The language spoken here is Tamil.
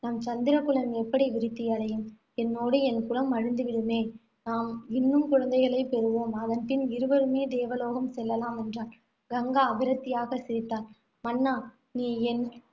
நம் சந்திரகுலம் எப்படி விருத்தியடையும் என்னோடு என் குலம் அழிந்து விடுமே. நாம் இன்னும் குழந்தைகளை பெறுவோம். அதன்பின் இருவருமே தேவலோகம் செல்லலாம், என்றான். கங்கா விரக்தியாக சிரித்தாள். மன்னா நீ என்